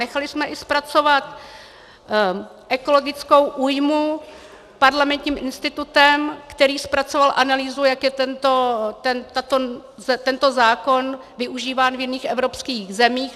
Nechali jsme i zpracovat ekologickou újmu Parlamentním institutem, který zpracoval analýzu, jak je tento zákon využíván v jiných evropských zemích.